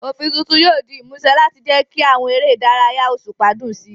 Òfin tuntun yóò di ìmúṣẹ láti jẹ́ kí àwọn eré ìdárayá òṣùpá dùn sí i.